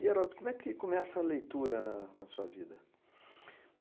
E, Heródoto, como é que começa a leitura na na sua vida?